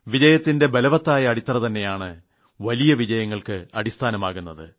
വിജയത്തിന്റെ ബലവത്തായ അടിത്തറ തന്നെയാണ് വലിയ വിജയങ്ങൾക്ക് അടിസ്ഥാനമാകുന്നത്